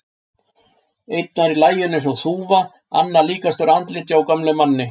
Einn var í laginu eins og þúfa, annar líkastur andliti á gömlum manni.